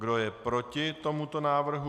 Kdo je proti tomuto návrhu?